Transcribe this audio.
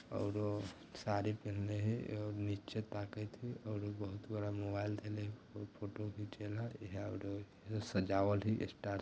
औउरो सारी पहना है ओ नीचे ताकत है और उ बहुत बड़ा मोबाइल टेल ह फोटो खीचे ला औउरो सजावल है स्टार--